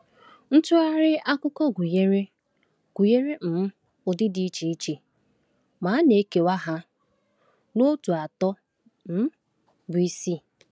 Ntụgharị akụkọ gụnyere gụnyere um ụdị dị iche iche, ma a na-ekewa ha n’òtù atọ um bụ isi.